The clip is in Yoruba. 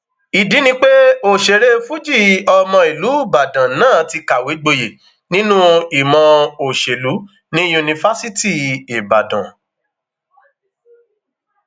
ìdí ni pé òṣèré fuji ọmọ ìlú ìbàdàn náà ti kàwé gboyè nínú ìmọ òṣèlú ní yunifásitì ìbàdàn